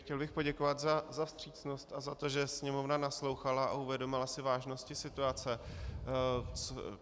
Chtěl bych poděkovat za vstřícnost a za to, že sněmovna naslouchala a uvědomovala si vážnost situace.